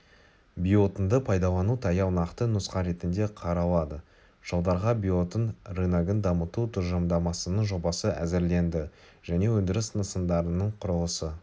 биоотынды пайдалану таяу нақты нұсқа ретінде қаралады жылдарға биоотын рыногын дамыту тұжырымдамасының жобасы әзірленді және өндіріс нысандарының құрылысы